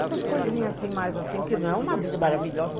Essas coisinhas assim, mais assim, porque não é uma vida maravilhosa.